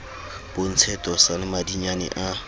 bontshe tosa le madinyane a